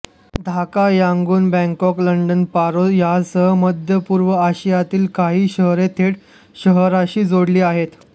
Dhaka Yangon Bangkok London Paro यासह मध्य पूर्व आशियातील काही शहरे थेट शहराशी जोडलेली आहेत